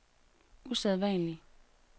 usædvanlig